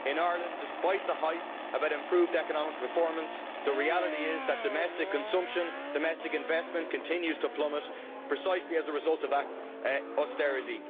In Ireland, despite the hype about improved economic performance, the reality is that domestic consumption and domestic investment continue to plummet, precisely as a result of that austerity.